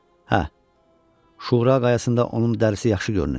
Hə, Şura qayasına onun dərisi yaxşı görünəcək.